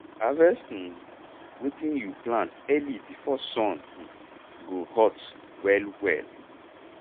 harvest um wetin you plant early before sun um go hot um well well